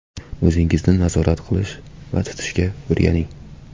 O‘zingizni nazorat qilish va tutishga o‘rganing.